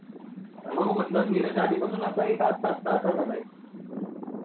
म्हंटलं नीरज आधीपासून असा आहे का आत्ता आत्ता असा झालाय?